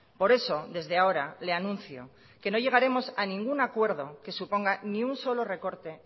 por eso desde ahora le anuncio que no llegaremos a ningún acuerdo que suponga ni un solo recorte